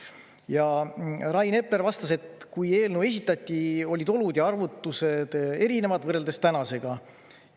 Ja Rain Epler vastas, et kui eelnõu esitati, olid olud ja arvutused erinevad võrreldes tänasega.